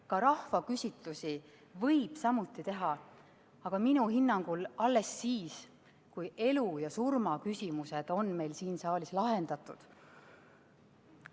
Ka rahvaküsitlusi võib teha, aga minu hinnangul alles siis, kui elu ja surma küsimused on meil siin saalis lahendatud.